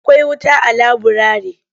Akwai wuta a laburare?